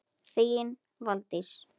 Þín Valdís.